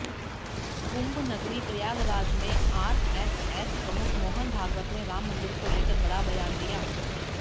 कुंभनगरी प्रयागराज में आरएसएस प्रमुख मोहन भागवत ने राम मंदिर को लेकर बड़ा बयान दिया